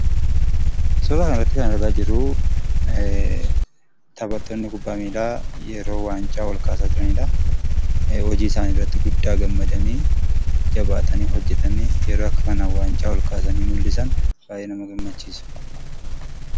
Suuraa kanarratti kan argaa jirru, taphattoonni kubbaa miillaa yeroo waancaa olkaasaa jiranidha. Hojii isaanii irratti guddaa gammadanii ,jabaatanii hojjetanii yeroo akka kanaan waancaa olkaasanii mul'isan baay'ee nama gammachiisa.